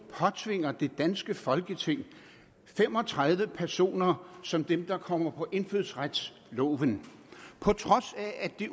påtvinger det danske folketing fem og tredive personer som dem der kommer på indfødsretsloven på trods af at det